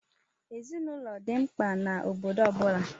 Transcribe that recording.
Ezinaụlọ dị mkpa n'obodo ọ bụla.